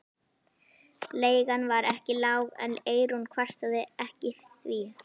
Leigan var ekki lág en Eyrún kvartaði ekki því